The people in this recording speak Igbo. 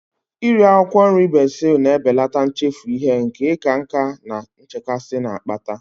Iri akwụkwọ nri bezil na-ebelata nchefu ihe nke ịka nká na nchekasị na-akpata